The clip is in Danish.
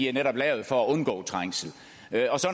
er netop lavet for at undgå trængsel